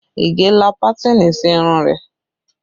Ige la pátìnì sí irun rẹ